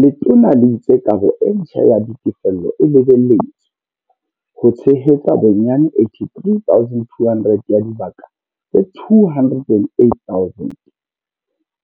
Letona le itse kabo e ntjha ya ditefello e lebeletswe ho tshe hetsa bonyane 83 200 ya dibaka tse 208 000